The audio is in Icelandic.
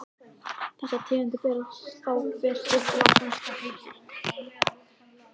Þessar tegundir bera þá hver sitt latneska heiti.